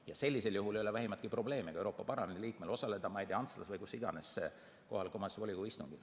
Ja sellisel juhul ei ole vähimatki probleemi ka Euroopa Parlamendi liikmel osaleda, ma ei tea, Antslas või kus iganes see kohaliku omavalitsuse volikogu istung on.